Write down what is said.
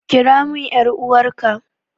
Kira min ƴar'uwarka!